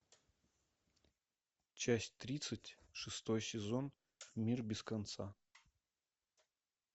часть тридцать шестой сезон мир без конца